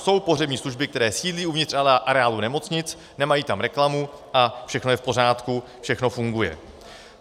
Jsou pohřební služby, které sídlí uvnitř areálů nemocnic, nemají tam reklamu a všechno je v pořádku, všechno funguje.